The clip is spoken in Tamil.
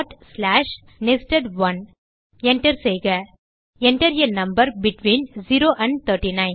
Enter செய்க enter a number between 0 and 39